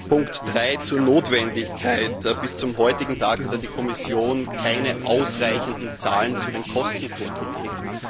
Punkt 3 zur Notwendigkeit Bis zum heutigen Tag hat die Kommission keine ausreichenden Zahlen zu den Kosten vorgelegt.